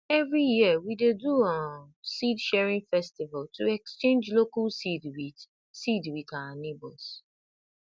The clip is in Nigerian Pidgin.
every year we dey do um seedsharing festival to exchange local seed with seed with our neighbours